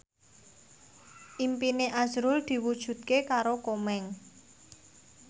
impine azrul diwujudke karo Komeng